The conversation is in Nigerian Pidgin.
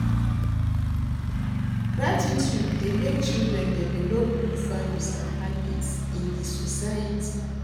Gratitude dey make children develop good values and habits in the society.